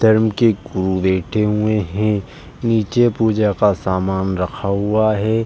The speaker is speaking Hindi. धर्म के हुए है। नीचे पूजा का समान रखा हुआ है।